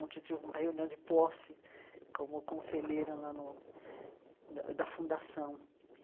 Onde eu tive uma reunião de posse como conselheira lá no da da Fundação.